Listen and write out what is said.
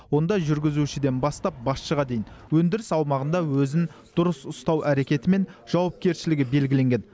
онда жүргізушіден бастап басшыға дейін өндіріс аумағында өзін дұрыс ұстау әрекеті мен жауапкершілігі белгіленген